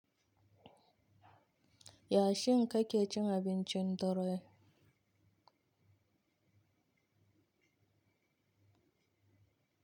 Yashin kake cin abincin dare?